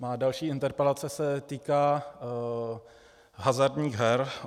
Má další interpelace se týká hazardních her.